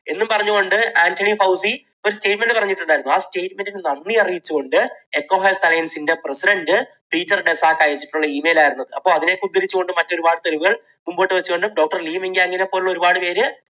എന്നുപറഞ്ഞുകൊണ്ട് Anthony Fauci ഒരു statement പറഞ്ഞിട്ടുണ്ടായിരുന്നു. ആ statement നു നന്ദി അറിയിച്ചുകൊണ്ട് EcoHealth Alliance president Peter Daszak അയച്ചിട്ടുള്ള email ആയിരുന്നു. അപ്പോൾ അതിനെ ഒക്കെ ഉദ്ധരിച്ചുകൊണ്ട് മറ്റ് ഒരുപാട് തെളിവുകൾ മുൻപോട്ടു വച്ചുകൊണ്ട് doctor ലീ മിങ് യാങ്ങിനെപ്പോലെയുള്ള ഒരുപാടുപേർ